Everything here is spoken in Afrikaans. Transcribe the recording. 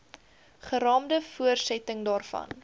geraamde voortsetting daarvan